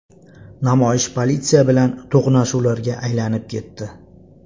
Namoyish politsiya bilan to‘qnashuvlarga aylanib ketdi.